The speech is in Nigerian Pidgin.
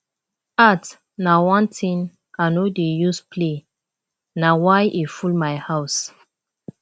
art na one thing i no dey use play na why e full my house